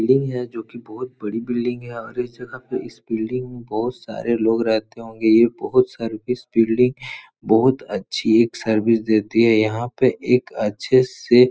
Building है जो कि बोहोत बड़ी बिल्डिंग है और इस जगह पे इस बिल्डिंग में बोहोत सारे लोग रहते होंगे। ये बहोत सारे इस बिल्डिंग बहोत अच्छी ये सर्विस देती है। यहाँ पे एक अच्छे से --